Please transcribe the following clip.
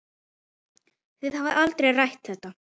Þið hafið aldrei rætt þetta?